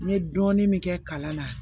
N ye dɔɔnin min kɛ kalan na